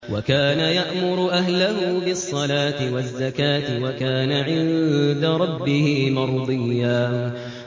وَكَانَ يَأْمُرُ أَهْلَهُ بِالصَّلَاةِ وَالزَّكَاةِ وَكَانَ عِندَ رَبِّهِ مَرْضِيًّا